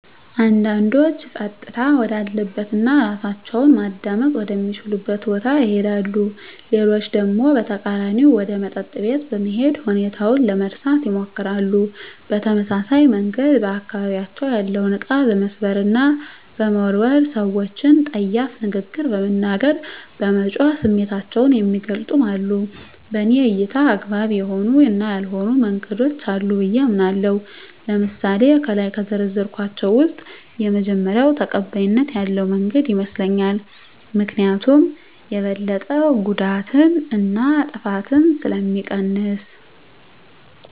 አንዳንዶች ፀጥታ ወዳለበት እና እራሳቸውን ማዳመጥ ወደ ሚችሉበት ቦታ ይሄዳሉ። ሌሎች ደግሞ በተቃራኒው ወደ መጠጥ ቤት በመሄድ ሁኔታውን ለመርሳት ይሞክራሉ። በተመሳሳይ መንገድ በአካባቢያቸው ያለውን እቃ በመስበር እና በመወርወር፣ ሰወችን ፀያፍ ንግግር በመናገር፣ በመጮህ ስሜታቸውን የሚገልፁም አሉ። በኔ እይታ አግባብ የሆኑ እና ያልሆኑ መንገዶች አሉ ብየ አምናለሁ። ለምሳሌ ከላይ ከዘረዘርኳቸው ውስጥ የመጀመሪው ተቀባይነት ያለው መንገድ ይመስለኛል። ምክኒያቱም የበለጠ ጉዳትን እና ጥፋትን ስለሚቀንስ።